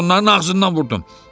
Mən də onların ağzından vurdum.